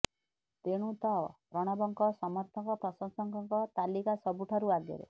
ତେଣୁ ତ ପ୍ରଣବଙ୍କ ସମର୍ଥକ ପ୍ରଶଂସକଙ୍କ ତାଲିକା ସବୁଠାରୁ ଆଗରେ